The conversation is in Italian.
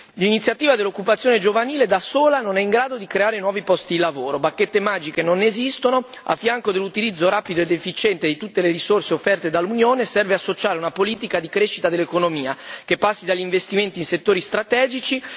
L'iniziativa a favore dell'occupazione giovanile da sola non è in grado di creare nuovi posti di lavoro. Non esistono bacchette magiche a fianco dell'utilizzo rapido ed efficiente di tutte le risorse offerte dall'Unione serve associare una politica di crescita dell'economia che passi dagli investimenti in settori strategici.